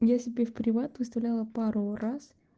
я себе в приват выставляла пару раз